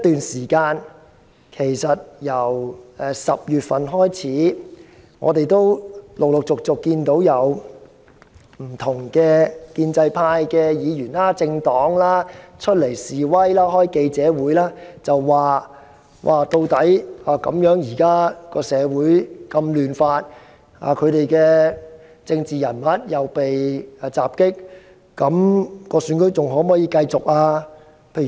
從10月起，不斷有建制派議員或政黨召開記者會。表示社會現在非常動亂，他們的政治人物又被襲，究竟區議會選舉是否還可以如期舉行？